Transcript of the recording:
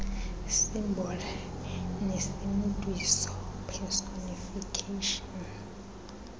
symbol nesimntwiso personification